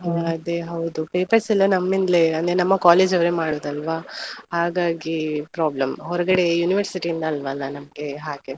ಅದೇ ಹೌದು papers ಎಲ್ಲಾ ನಮ್ಮಿಂದಲೇ, ನಮ್ಮ college ಅವ್ರೆ ಮಾಡುದು ಅಲ್ವಾ. ಹಾಗಾಗಿ problem ಹೋರ್ಗಡೆ University ಇಂದ ಅಲ್ಲವಲ್ಲ ನಮ್ಗೆ ಹಾಗಾಗಿ.